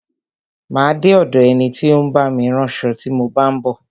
Má a de ọ̀do ẹni tí ó ń bá mi ránṣo tí mo bá ń bọ̀.